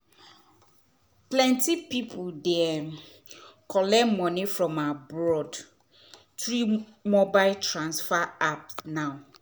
plenti people dey um collect moni from abroad through mobile transfer app now